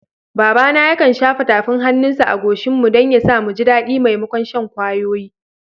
Babana yakan shafa tafin hannunsa a goshinmu don ya sa, mu ji daɗi maimakon shan kwayoyi.